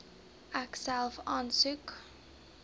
ek self aansoek